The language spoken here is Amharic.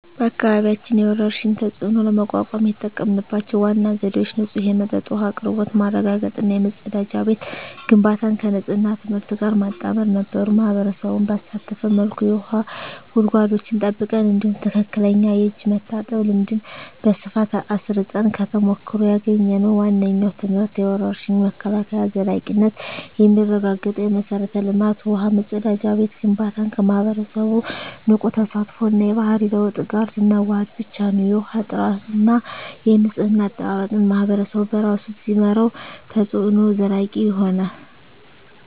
በአካባቢያችን የወረርሽኝን ተፅዕኖ ለመቋቋም የተጠቀምንባቸው ዋና ዘዴዎች ንጹህ የመጠጥ ውሃ አቅርቦት ማረጋገጥ እና የመጸዳጃ ቤት ግንባታን ከንፅህና ትምህርት ጋር ማጣመር ነበሩ። ማኅበረሰቡን ባሳተፈ መልኩ የውሃ ጉድጓዶችን ጠብቀን፣ እንዲሁም ትክክለኛ የእጅ መታጠብ ልምድን በስፋት አስረፅን። ከተሞክሮ ያገኘነው ዋነኛው ትምህርት የወረርሽኝ መከላከል ዘላቂነት የሚረጋገጠው የመሠረተ ልማት (ውሃ፣ መጸዳጃ ቤት) ግንባታን ከማኅበረሰቡ ንቁ ተሳትፎ እና የባህሪ ለውጥ ጋር ስናዋህድ ብቻ ነው። የውሃ ጥራትና የንፅህና አጠባበቅን ማኅበረሰቡ በራሱ ሲመራው፣ ተፅዕኖው ዘላቂ ይሆናል።